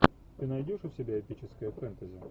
ты найдешь у себя эпическое фэнтези